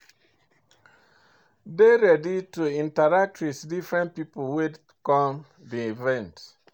Dey ready to interact with different pipo wey come di event